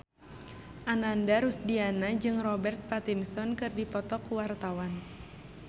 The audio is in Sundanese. Ananda Rusdiana jeung Robert Pattinson keur dipoto ku wartawan